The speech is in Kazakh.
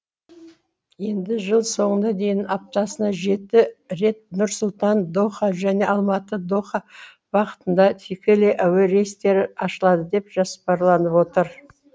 енді жыл соңына дейін аптасына жеті рет нұр сұлтан доха және алматы доха бағытында тікелей әуе рейстері ашылады деп жоспарланып отыр